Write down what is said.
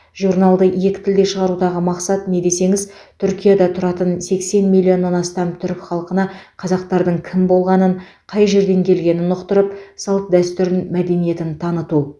журналды екі тілде шығарудағы мақсат не десеңіз түркияда тұратын сексен миллионнан астам түрік халқына қазақтардың кім болғанын қай жерден келгенін ұқтырып салт дәстүрін мәдениетін таныту